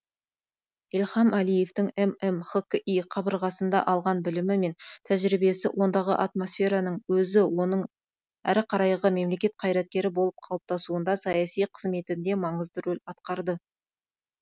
ильхам әлиевтің ммхқи қабырғасында алған білімі мен тәжірибесі ондағы атмосфераның өзі оның әрі қарайғы мемлекет қайраткері болып қалыптасуында саяси қызметінде маңызды рөл атқарды